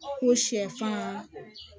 Ko sɛfan